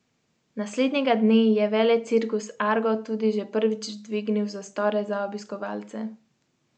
Naslednjega dne je velecirkus Argo tudi že prvič dvignil zastore za obiskovalce.